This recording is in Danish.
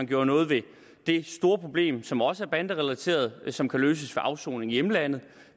gjorde noget ved det store problem som også er banderelateret og som kan løses ved afsoning i hjemlandet